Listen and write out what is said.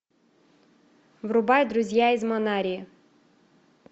врубай друзья из манарии